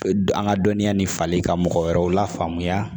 An ka dɔnniya ni fali ka mɔgɔ wɛrɛw lafaamuya